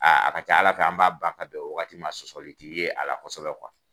Aa a ka ca ala fɛ an b'a ban ka bɛn wagati ma sɔsɔli ti ye ala kosɛbɛ kuwa